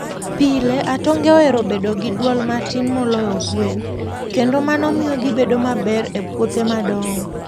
Pile, atonge ohero bedo gi dwol matin moloyo gwen, kendo mano miyo gibedo maber e puothe madongo.